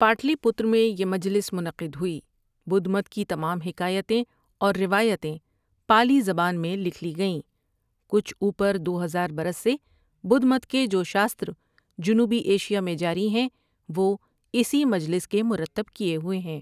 پاٹلی پتر میں یہ مجلس منعقد ہوئی بدھ مت کی تمام حکایتیں اور روایتیں پالی زبانی میں لکھ لی گئیں کچھ اوپر دو ہزار برس سے بدھ مت کے جو شاستر جنوبی ایشیا میں جاریہیں وہ اسی مجلس کے مرتب کیے ہوئے ہیں ۔